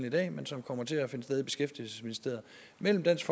i dag men som kommer til at finde sted i beskæftigelsesministeriet mellem dansk